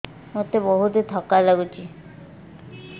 ମୋତେ ବହୁତ୍ ଥକା ଲାଗୁଛି